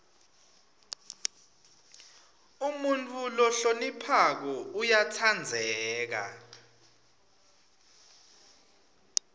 umuntfu lohloniphako uyatsandzeka